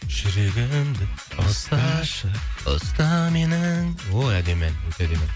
жүрегімді ұсташы ұста менің о әдемі ән керемет